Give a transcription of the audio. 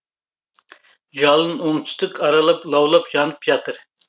жалын оңтүстік аралып лаулып жанып жатыр